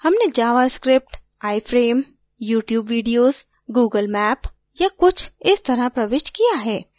हमने javascript iframe youtube video google map या कुछ इस तरह प्रविष्ट किया है